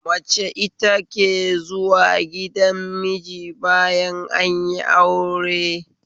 Mace ita ke zuwa gidan miji bayan anyi aure